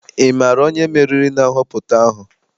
Ị maara onye meriri na nhọpụta ahụ?